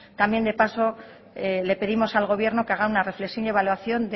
también de paso le pedimos al gobierno que haga una reflexión y una evaluación